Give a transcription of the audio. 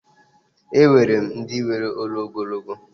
E nwere ndi nwere olu ogologo.